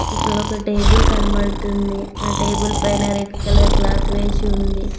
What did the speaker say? ఇక్కడొక టేబుల్ కనబడుతుంది ఆ టేబుల్ పైన రెడ్ కలర్ క్లాత్ వేసి ఉంది.